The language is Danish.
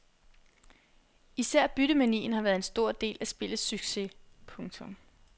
Især byttemanien har været en stor del af spillets succes. punktum